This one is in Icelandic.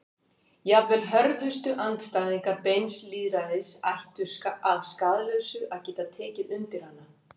Jafnvel hörðustu andstæðingar beins lýðræðis ættu að skaðlausu að geta tekið undir hana.